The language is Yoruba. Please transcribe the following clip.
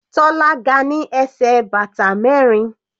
Tola ga ní ẹsẹ̀ bàtà mẹrin.